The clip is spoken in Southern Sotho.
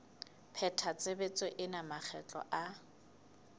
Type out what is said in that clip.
pheta tshebetso ena makgetlo a